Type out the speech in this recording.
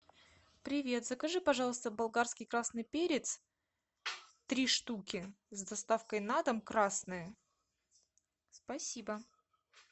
привет закажи пожалуйста болгарский красный перец три штуки с доставкой на дом красные спасибо